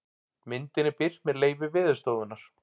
Myndin er birt með leyfi Veðurstofunnar.